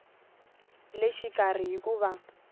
le xikarhi hi ku va